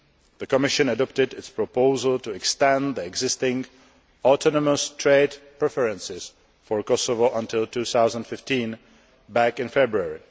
The Commission adopted its proposal to extend the existing autonomous trade preferences for Kosovo until 2015 back in February.